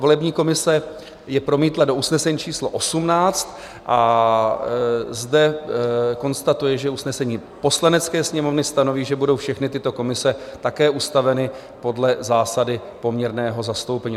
Volební komise je promítla do usnesení číslo 18 a zde konstatuje, že usnesení Poslanecké sněmovny stanoví, že budou všechny tyto komise také ustaveny podle zásady poměrného zastoupení.